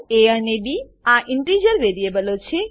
એ અને બી આ ઇન્ટીજર વેરીએબલો છે